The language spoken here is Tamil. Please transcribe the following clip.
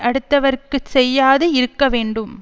அடுத்தவர்க்குச் செய்யாது இருக்க வேண்டும்